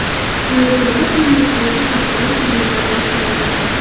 Andijonda tennis bo‘yicha xalqaro turnirlar boshlandi.